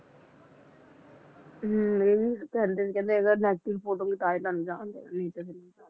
ਹਮ ਇਹ ਵੀ ਕਹਿੰਦੇ ਸੀ, ਕਹਿੰਦੇ ਅਗਰ negative report ਹੋਊਗੀ ਤਾਂ ਤੁਹਾਨੂੰ ਜਾਣ